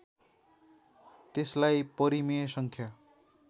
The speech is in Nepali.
त्यसलाई परिमेय सङ्ख्या